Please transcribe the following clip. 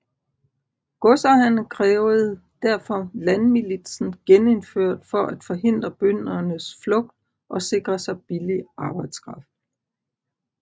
Godsejerne krævede derfor landmilitsen genindført for at forhindre bøndernes flugt og sikre sig billig arbejdskraft